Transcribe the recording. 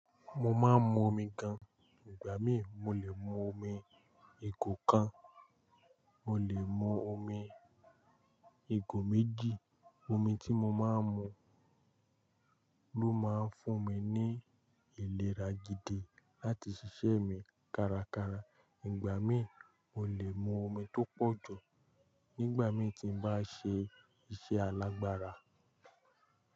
Mo máa ń mu omi gan, ìgbà mí mo lè mu omi ìgò kan, mo lè mu omi ìgò méjì. Omi tí mo máa ń mu ló máa ń fún mi ní ìlera gidi láti ṣiṣẹ́ mi kárakára. Ìgbà mí mo lè mu omi tó pọ̀ jù nígbà mí tí ń bá ṣe iṣẹ́ alágbára.